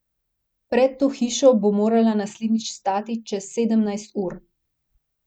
Pred to hišo bo morala naslednjič stati čez sedemnajst ur.